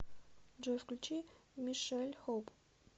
джой включи мишель хоуп